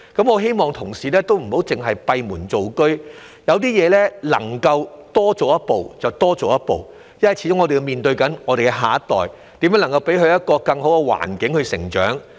我希望同事不要只閉門造車，對一些事情，能夠多做一步便多做一步，因為我們始終是面對我們的下一代，要想想如何給他們有一個更好的成長環境。